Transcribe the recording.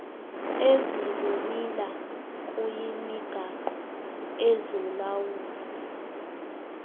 ezikumila kuyimigaqo ezolawulo